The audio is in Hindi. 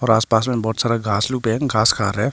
पास पास में बहुत सारा घास लोग है घास खा रहे है।